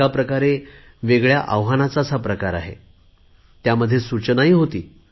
एका प्रकारे वेगळ्या आव्हानाचाच हा प्रकार आहे त्यामध्ये सूचनाही होती